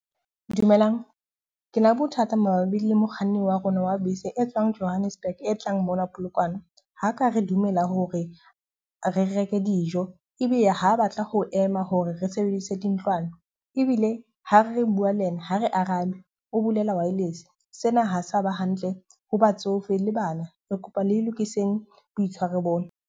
Dumelang, ke na bothata mabapi le mokganni wa rona wa bese e tswang Johannesburg e tlang mona Polokwane. Ha ka re dumela hore re reke dijo, ebile ha batla ho ema hore re sebedise dintlwana. Ebile ha re bua le yena ha re arabe o bulela wireless. Sena ha se a ba hantle ho batsofe le bana. Re kopa le lokiseng boitshwaro bona.